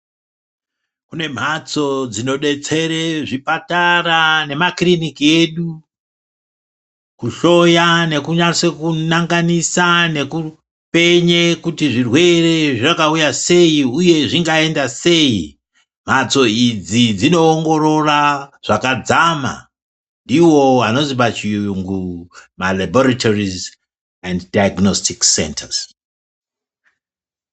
Kune mhatso dzinodetsere zvipatara nemakirinika edu kuhloya nekunase kunanganisa nekupenye kuti zvirwere zvakauya sei uye zvingaende sei mhatso idzi dzinoongorora zvakadzama ndidzo mbatso dzinohloya nhenda muvantu.